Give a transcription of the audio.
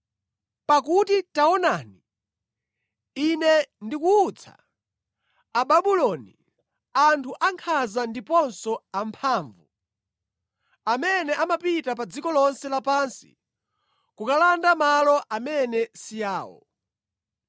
Pakuti taonani, Ine ndikuwutsa Ababuloni, anthu ankhanza ndiponso amphamvu, amene amapita pa dziko lonse lapansi kukalanda malo amene si awo.